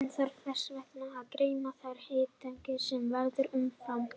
Hann þarf þess vegna að geyma þær hitaeiningar sem verða umfram.